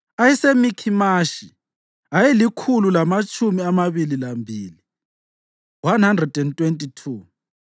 ayeseMikhimashi ayelikhulu lamatshumi amabili lambili (122),